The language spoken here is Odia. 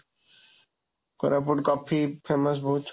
କୋରାପୁଟ କଫି famous ବହୁତ।